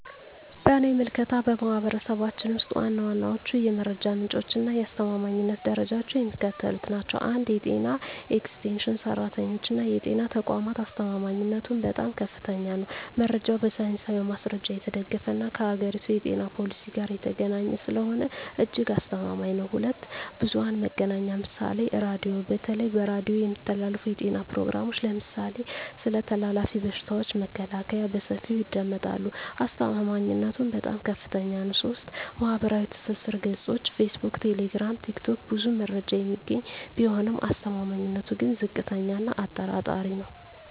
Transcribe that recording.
በእኔ ምልከታ፣ በማኅበረሰባችን ውስጥ ዋና ዋናዎቹ የመረጃ ምንጮችና የአስተማማኝነት ደረጃቸው የሚከተሉት ናቸው፦ 1. የጤና ኤክስቴንሽን ሠራተኞችና የጤና ተቋማት አስተማማኝነቱም በጣም ከፍተኛ ነው። መረጃው በሳይንሳዊ ማስረጃ የተደገፈና ከአገሪቱ የጤና ፖሊሲ ጋር የተገናኘ ስለሆነ እጅግ አስተማማኝ ነው። 2. ብዙኃን መገናኛ ምሳሌ ራዲዮ:- በተለይ በሬዲዮ የሚተላለፉ የጤና ፕሮግራሞች (ለምሳሌ ስለ ተላላፊ በሽታዎች መከላከያ) በሰፊው ይደመጣሉ። አስተማማኝነቱም በጣም ከፍታኛ ነው። 3. ማኅበራዊ ትስስር ገጾች (ፌስቡክ፣ ቴሌግራም፣ ቲክቶክ) ብዙ መረጃ የሚገኝ ቢሆንም አስተማማኝነቱ ግን ዝቅተኛ እና አጠራጣሪ ነው።